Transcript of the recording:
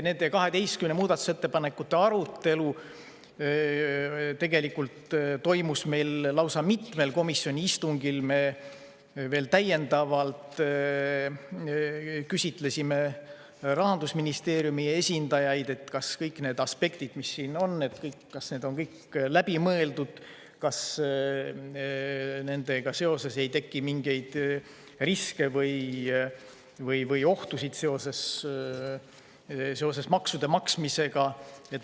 Nende 12 muudatusettepaneku arutelu toimus lausa mitmel komisjoni istungil, me veel täiendavalt küsitlesime Rahandusministeeriumi esindajaid, kas kõik need aspektid, mis siin on, on läbi mõeldud, kas ei teki mingeid riske või ohtusid seoses maksude maksmisega.